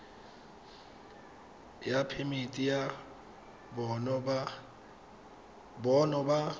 ya phemiti ya bonno ba